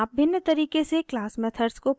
आप भिन्न तरीके से क्लास मेथड्स को परिभाषित कर सकते हैं